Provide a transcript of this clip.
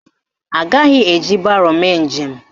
Agaghị eji baro mee njem